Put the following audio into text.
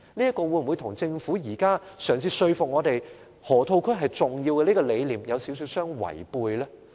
這做法是否跟政府現在嘗試說服我們河套區十分重要的這個理念相違背呢？